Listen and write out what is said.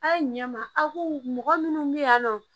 A' ye ɲɛ ma aw ko mɔgɔ minnu bɛ yan nɔ